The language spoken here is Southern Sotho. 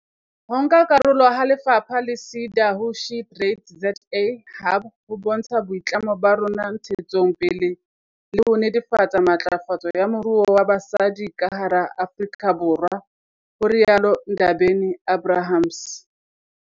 Ho nka karolo ha lefapha le SEDA ho SheTradesZA Hub ho bontsha boitlamo ba rona ntshetsong pele le ho netefatsa matlafatso ya moruo wa basadi ka hara Afrika Borwa, ho rialo Ndabeni-Abrahams.